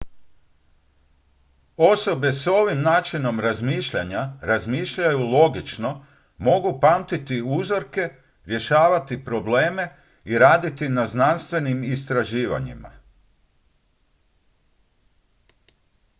osobe s ovim načinom razmišljanja razmišljaju logično mogu pamtiti uzorke riješavati probleme i raditi na znanstvenim istraživanjima